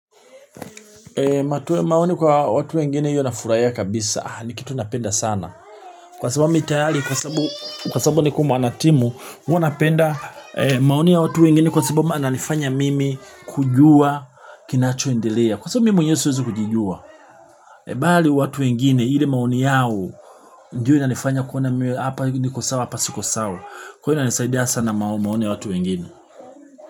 Matue maoni kwa watu wengine hiyo nafurahia kabisa ni kitu napenda sana kwa sababu mi tayari kwa sababu kwa sababu ni kumu anatimu huwa napenda maoni ya watu wengine kwa sababu ananifanya mimi kujua kinachoendelea kwa sababu mimi mwenyewe siwezi kujijua. Ebali watu wengine ile maoni yao ndio inanifanya kuona mie hapa niko sawa hapa siko sawa. Kwa hiyo inanisaidia sana mao, maoni ya watu wengine.